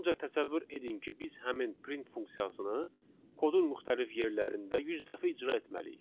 Ancaq təsəvvür edin ki, biz həmin print funksiyasını kodun müxtəlif yerlərində 100 dəfə icra etməliyik.